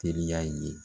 Teriya ye